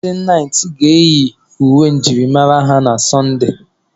Ndị naịt ga-eyi uwe njirimara ha na Sunday.